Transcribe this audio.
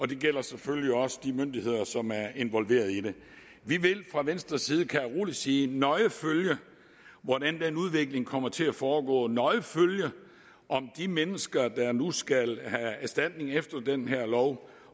det gælder selvfølgelig også de myndigheder som er involveret i det vi vil fra venstres side kan jeg rolig sige nøje følge hvordan den udvikling kommer til at foregå nøje følge om de mennesker der nu skal have erstatning efter den her lov